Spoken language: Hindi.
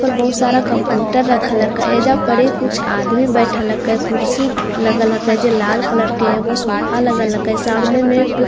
बहुत सारा कंप्यूटर रखा लका हे येजा पडि कुछ आदमी बैठा लका है ख्रुसी लका लगा है जे लाल कलर के है वो सोफा लगा लका है और सामने मै कुछ पो--